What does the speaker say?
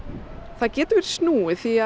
það getur verið snúið því